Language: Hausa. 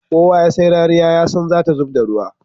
Kowa ya sai rariya yasan zata zubda ruwa